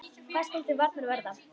Hvað skal til varnar verða?